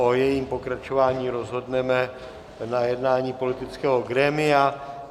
O jejím pokračování rozhodneme na jednání politického grémia.